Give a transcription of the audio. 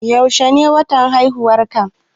Yaushe ne watan haihuwarka?